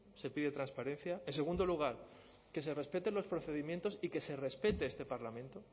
se pide transparencia en segundo lugar que se respeten los procedimientos y que se respete este parlamento